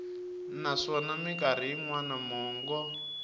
naswona mikarhi yin wana mongo